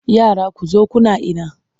Yara ku zo kuna ina!